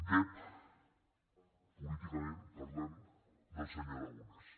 dep políticament parlant del se·nyor aragonès